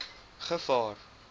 gevaar